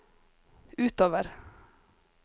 utover